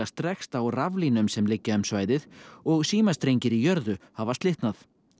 strekkst á raflínum sem liggja um svæðið og símastrengir í jörðu hafa slitnað